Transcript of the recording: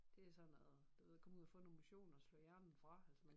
Det er sådan noget du ved komme ud og få noget motion og slå hjernen fra altså man